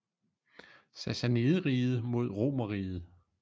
Sassanideriget mod romerriget